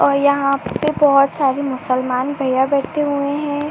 और यहाँ पे बहोत सारे मुसलमान भईया बैठे हुए है।